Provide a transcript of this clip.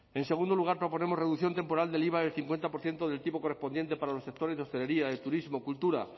en segundo lugar proponemos reducción temporal del iva del cincuenta por ciento del tipo correspondiente para los sectores de hostelería de turismo cultura